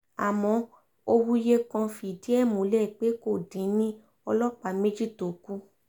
àmọ́ òwúyẹ́ kan fìdí ẹ̀ múlẹ̀ pé kò dín ní ọlọ́pàá méjì tó kù